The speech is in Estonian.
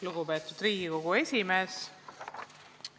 Lugupeetud Riigikogu esimees!